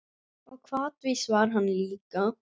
Og hvatvís var hann líka.